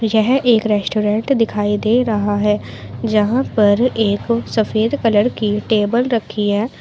यह एक रेस्टोरेंट दिखाई दे रहा है जहां पर एक सफेद कलर की टेबल रखी है।